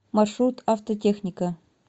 маршрут автотехника